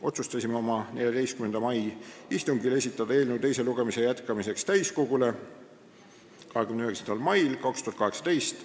Otsustasime oma 14. mai istungil esitada eelnõu teise lugemise jätkamiseks täiskogule 29. maiks 2018.